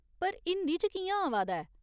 पर हिंदी च कि'यां आवा दा ऐ ?